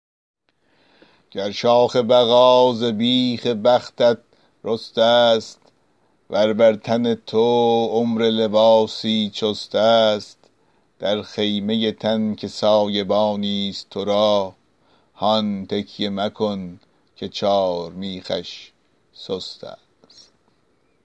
گر شاخ بقا ز بیخ بختت رسته ست ور بر تن تو عمر لباسی چست است در خیمه تن که سایبانی ست تو را هان تکیه مکن که چارمیخش سست است